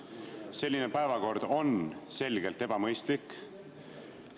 Selline päevakord on selgelt ebamõistlik.